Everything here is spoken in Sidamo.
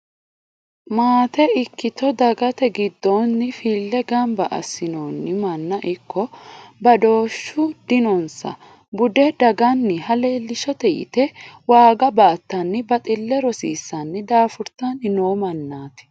Maate ikkitto dagate giddoni file gamba assinonni manna ikko badooshu dinonsa bude daganiha leelishshate yite waaga baattani baxile rosiisani daafurtanni no mannati.